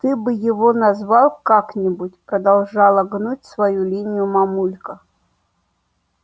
ты бы его назвал как-нибудь продолжала гнуть свою линию мамулька